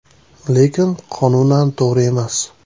Lekin qonunan to‘g‘ri emas.